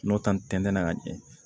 N'o ta ni tɛntɛnna ka ɲɛ